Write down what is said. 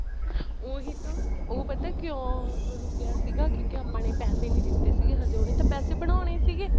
ਉਹੀ ਤਾਂ ਉਹ ਪਤਾ ਕਿਉਂ ਰੁੱਕਿਆ ਸੀਗਾ ਕਿਉਂਕਿ ਆਪਾਂ ਨੇ ਪੈਸੇ ਨੀ ਦਿੱਤੇ ਸੀਗੇ ਹਜੇ ਉਹਨੇ ਤਾਂ ਪੈਸੇ ਬਣਾਉਣੇ ਸੀਗੇ